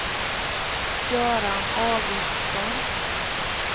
Göran Augustsson